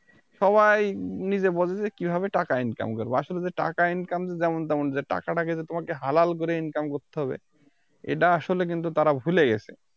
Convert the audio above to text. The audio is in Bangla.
সবাই নিজে বোঝে যে কিভাবে টাকা Income করবো আসলে যে টাকা Income যেমন তেমন যে টাকাটা যে তোমাকে হালাল করে Income করতে হবে এটা আসলে কিন্তু তারা ভুলে গেছে